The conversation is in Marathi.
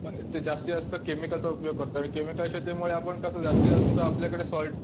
ते जास्तीतजास्त केमिकलचा उपयोग करतो आणि केमिकलच्या आपल्याकडे कसं सॉल्ट